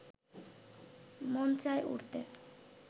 মন চাই উড়তে